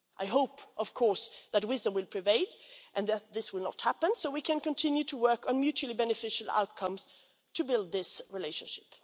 I hope, of course, that wisdom will prevail, and that this will not happen, so we can continue to work towards a mutually beneficial outcome to build this relationship.